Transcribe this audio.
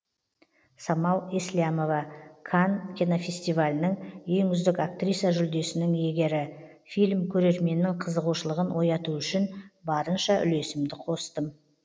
самал еслямова канн кинофестивалінің ең үздік актриса жүлдесінің иегері фильм көрерменнің қызығушылығын оятуы үшін барынша үлесімді қостым